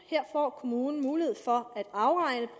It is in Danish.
og her får kommunen mulighed for